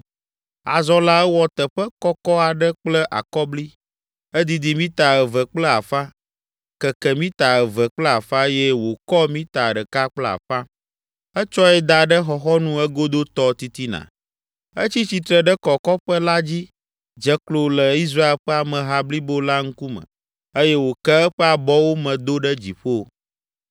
Azɔ la ewɔ teƒe kɔkɔ aɖe kple akɔbli; edidi mita eve kple afã, keke mita eve kple afã eye wòkɔ mita ɖeka kple afã. Etsɔe da ɖe xɔxɔnu egodotɔ titina. Etsi tsitre ɖe kɔkɔƒe la dzi, dze klo le Israel ƒe ameha blibo la ŋkume eye wòke eƒe abɔwo me do ɖe dziƒo.